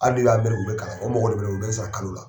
Hali u bɛ kalan kɛ, o mɔgɔ de bɛ ne bolo, u bɛ n sara kalo la.